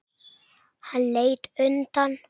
Hann leit undan.